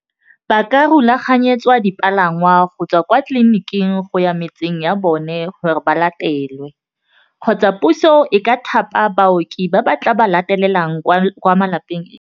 Ba ka rulaganyetswa dipalangwa go tswa kwa tleliniking go ya ko metseng ya bone gore ba latelwe kgotsa puso e ka thapa baoki ba ba tla ba latelang kwa malapeng .